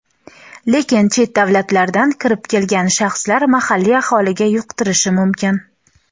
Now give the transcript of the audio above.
lekin chet davlatlardan kirib kelgan shaxslar mahalliy aholiga yuqtirishi mumkin.